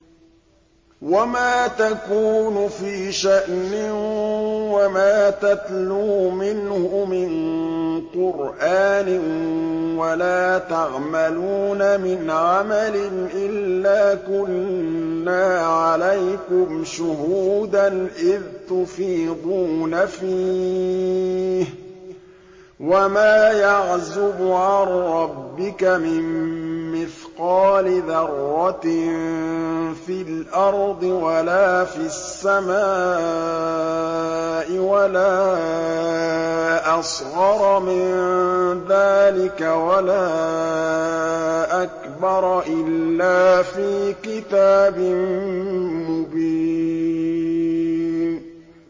وَمَا تَكُونُ فِي شَأْنٍ وَمَا تَتْلُو مِنْهُ مِن قُرْآنٍ وَلَا تَعْمَلُونَ مِنْ عَمَلٍ إِلَّا كُنَّا عَلَيْكُمْ شُهُودًا إِذْ تُفِيضُونَ فِيهِ ۚ وَمَا يَعْزُبُ عَن رَّبِّكَ مِن مِّثْقَالِ ذَرَّةٍ فِي الْأَرْضِ وَلَا فِي السَّمَاءِ وَلَا أَصْغَرَ مِن ذَٰلِكَ وَلَا أَكْبَرَ إِلَّا فِي كِتَابٍ مُّبِينٍ